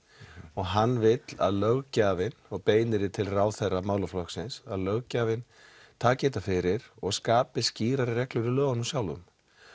og hann vill að löggjafi og beinir því til ráðherra málaflokksins að löggjafinn taki þetta fyrir og skapi skýrari reglur í lögunum sjálfum